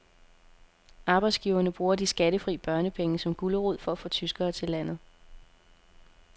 Arbejdsgiverne bruger de skattefri børnepenge som gulerod for at få tyskere til landet.